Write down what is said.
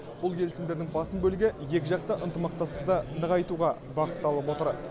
бұл келісімдердің басым бөлігі екіжақты ынтымақтастықты нығайтуға бағытталып отыр